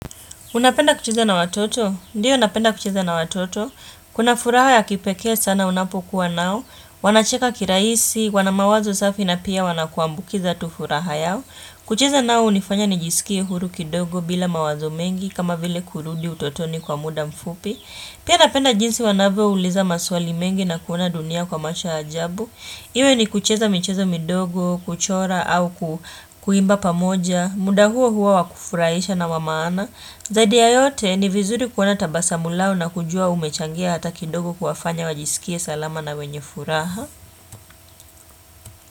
Unapenda kucheza na watoto? Ndiyo napenda kucheza na watoto. Kuna furaha ya kipekee sana unapokuwa nao. Wanacheka kirahisi, wana mawazo safi na pia wanakuambukiza tu furaha yao. Kucheza nao hunifanya nijisikie huru kidogo bila mawazo mengi kama vile kurudi utotoni kwa muda mfupi. Pia napenda jinsi wanavyouliza maswali mengi na kuona dunia kwa macho ya ajabu. Iwe ni kucheza micheza midogo, kuchora au kuimba pamoja. Muda huo huo wakufurahisha na wa maana. Zadi ya yote ni vizuri kuona tabasamu lao na kujua umechangia hata kidogo kuwafanya wajisikie salama na wenye furaha.